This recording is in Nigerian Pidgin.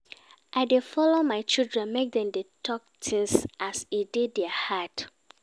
I dey allow my children make dem dey tok tins as e dey their heart.